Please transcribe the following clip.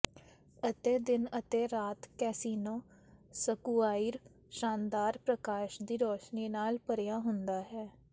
ਅਤੇ ਦਿਨ ਅਤੇ ਰਾਤ ਕੈਸੀਨੋ ਸਕੁਆਇਰ ਸ਼ਾਨਦਾਰ ਪ੍ਰਕਾਸ਼ ਦੀ ਰੋਸ਼ਨੀ ਨਾਲ ਭਰਿਆ ਹੁੰਦਾ ਹੈ